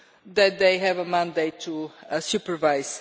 that they have a mandate to supervise.